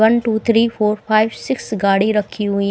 one two three four five six गाड़ी रखी हुई --